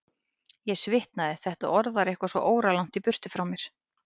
Ég svitnaði, þetta orð var eitthvað svo óralangt í burtu frá mér.